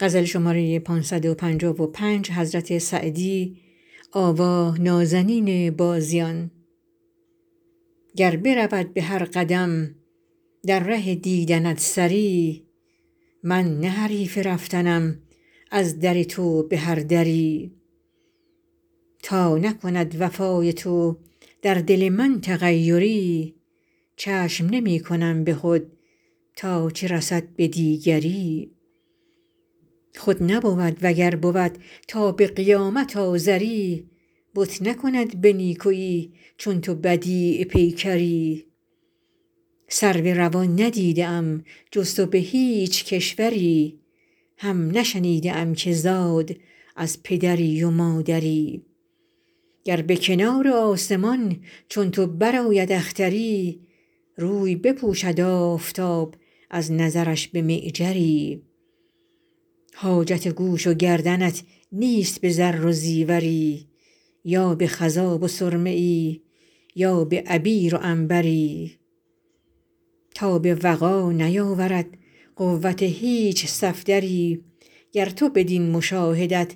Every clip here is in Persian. گر برود به هر قدم در ره دیدنت سری من نه حریف رفتنم از در تو به هر دری تا نکند وفای تو در دل من تغیری چشم نمی کنم به خود تا چه رسد به دیگری خود نبود و گر بود تا به قیامت آزری بت نکند به نیکویی چون تو بدیع پیکری سرو روان ندیده ام جز تو به هیچ کشوری هم نشنیده ام که زاد از پدری و مادری گر به کنار آسمان چون تو برآید اختری روی بپوشد آفتاب از نظرش به معجری حاجت گوش و گردنت نیست به زر و زیوری یا به خضاب و سرمه ای یا به عبیر و عنبری تاب وغا نیاورد قوت هیچ صفدری گر تو بدین مشاهدت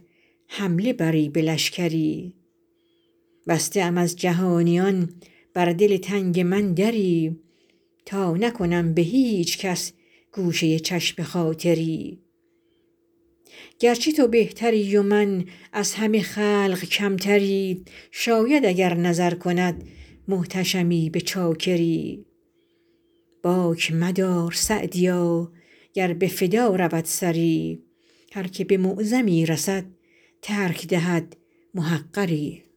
حمله بری به لشکری بسته ام از جهانیان بر دل تنگ من دری تا نکنم به هیچ کس گوشه چشم خاطری گرچه تو بهتری و من از همه خلق کمتری شاید اگر نظر کند محتشمی به چاکری باک مدار سعدیا گر به فدا رود سری هر که به معظمی رسد ترک دهد محقری